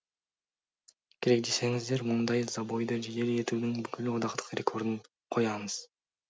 керек десеңіздер мұндай забойды жедел етудің бүкіл одақтық рекордын қоямыз